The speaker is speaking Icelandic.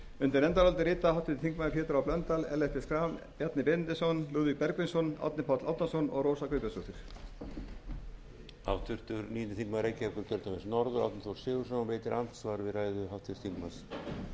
undir nefndarálitið rita háttvirtir þingmenn pétur h blöndal ellert b schram bjarni benediktsson lúðvík bergvinsson árni páll árnason og rósa guðbjartsdóttir